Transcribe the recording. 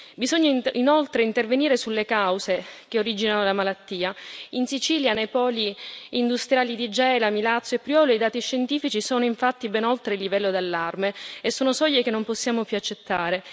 Bisogna inoltre intervenire sulle cause che originano la malattia in Sicilia, nei poli industriali di Gela, Milazzo e Priolo, i dati scientifici sono infatti ben oltre il livello d'allarme e sono soglie che non possiamo più accettare.